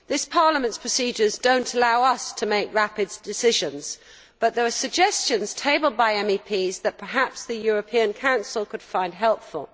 Parliament's procedures do not allow it to make rapid decisions, but there are suggestions tabled by MEPs that perhaps the European Council could find helpful.